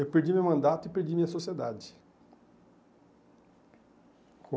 Eu perdi meu mandato e perdi minha sociedade.